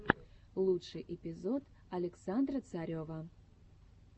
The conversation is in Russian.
лучший эпизод александра царева